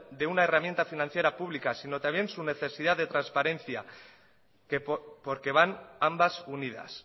de una herramienta financiera pública sino también su necesidad de transparencia porque van ambas unidas